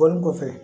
Bɔlen kɔfɛ